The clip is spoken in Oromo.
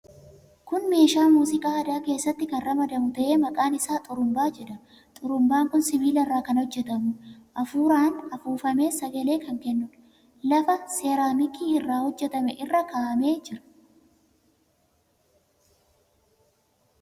Kun meeshaa muuziqaa aadaa keessatti kan ramadamu ta'ee, maqaan isaa xurumbaa jedhama. Xurumbaan kun sibiila irraa kan hojjetamuudha. Hafuuraan hafuufamee sagalee kan kennuudha. Lafa seraamikii irraa hojjetame irra kaa'amee jira.